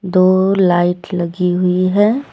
दो लाइट लगी हुई है।